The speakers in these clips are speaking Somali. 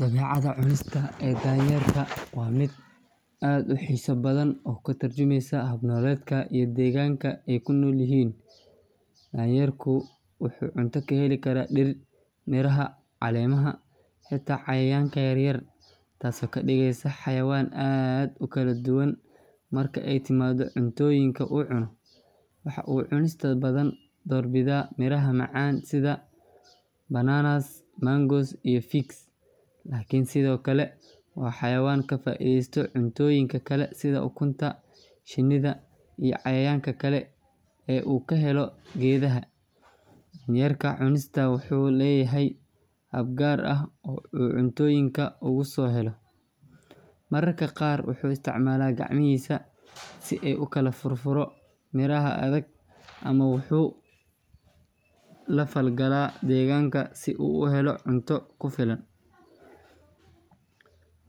Dabeecadda cunista ee daayeerka waa mid aad u xiiso badan oo ka tarjumaysa hab nololeedkooda iyo deegaanka ay ku nool yihiin. Daayeerku wuxuu cunto ka heli karaa dhir, miraha, caleemaha, xitaa cayayaanka yaryar, taasoo ka dhigaysa xayawaan aad u kala duwan marka ay timaado cuntooyinka uu cuno. Waxa uu inta badan door bidaa miraha macaan sida bananas, mangoes, iyo figs, laakiin sidoo kale waa xayawaan ka faa’iideysta cuntooyinka kale sida ukunta, shinnida, iyo cayayaanka kale ee uu ka helo geedaha. Daayeerka cunista wuxuu leeyahay hab gaar ah oo uu cuntooyinka ugu soo helo, mararka qaar wuxuu isticmaalaa gacmahiisa si uu u kala furfuro miraha adag, ama wuxuu la falgalaa deegaanka si uu u helo cunto ku filan.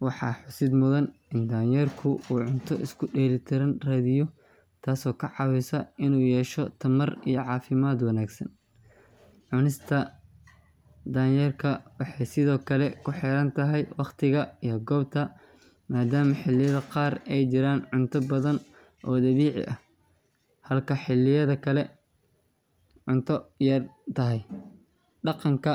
Waxaa xusid mudan in daayeerku uu cunto isku dheelitiran raadiyo, taasoo ka caawisa inuu yeesho tamar iyo caafimaad wanaagsan. Cunista daayeerka waxay sidoo kale ku xiran tahay waqtiga iyo goobta, maadaama xilliyada qaar ay jiraan cunto badan oo dabiici ah halka xilliyada kale cunto yar tahay. Dhaqanka.